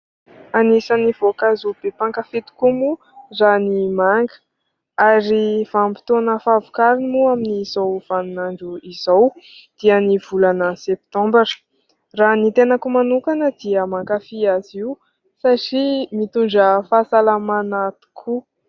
Anisan'ny voankazo be mpankafỳ tokoa moa raha ny manga. Ary vanim-potoana fahavokarany moa amin'izao vaninandro izao dia ny volana septambra. Raha ny tenako manokana dia mankafỳ azy io satria mitondra fahasalamana tokoa.